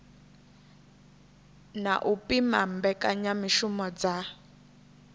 na u pima mbekanyamishumo dza